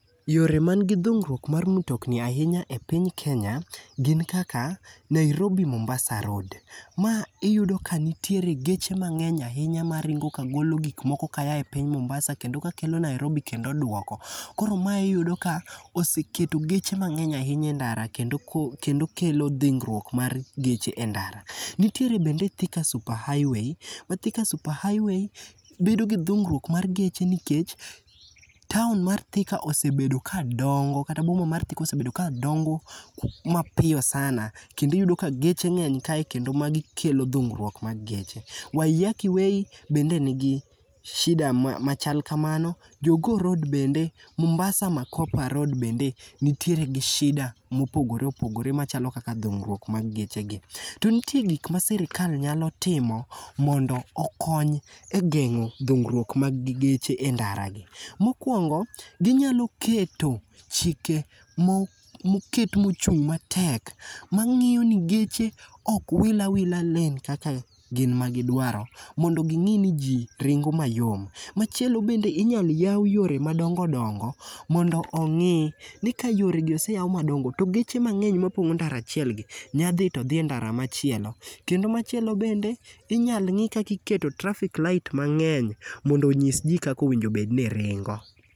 Yore man gi dhungruok mar mtokni ahinya e piny Kenya gin kaka, Nairobi-Mombasa Road. Ma iyudo ka nitiere geche mang'eny ahinya maringo kagolo gikmoko kayae piny Mombasa kendo ka kelo Nairobi kendo dwoko. Koro mae iyudo ka oseketo geche mang'eny ahinya e ndara kendo kelo dhingruok mar geche e ndara. Nitiere bende Thika Super Highway. Thika Super Highway bedo gi dhungruok mar geche nikech town mar Thika osebedo ka dongo kata boma mar Thika osebedo kadongo mapiyo sana ,kendo iyudo ka geche ng'eny kae kendo magi kelo dhungruok mag geche. Waiyaki Way bende nigi shida machal kamano, Jogoo Road bende. Mombasa -Makopa Road bende nitiere gi shida mopogore opogoremachalo kaka dhungruok mag geche gi. To nitie gik ma sirikal nyalo timo mondo okony e geng'o dhungruok mag geche e ndara gi. Mokwongo, ginyalo keto chike moket mochung' matek mang'iyo ni geche ok wil awila lanes kaka gin magidwaro, mondo ging'i ni ji ringo mayom. Machielo bende, inyalo yaw yore madongo dongo mondo ongi' ni ka yore gi oseyaw madongo, to geche mang'eny mapongo ndara achiel gi, nyadhi to dhi e ndara machielo. Kendo machielo bende, inyalo ng'i kaka iketo traffic light mang'eny mondo onyis ji kaka owinjo bedni ringo.